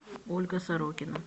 ольга сорокина